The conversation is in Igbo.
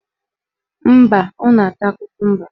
Mba, ọ na-ata kokumba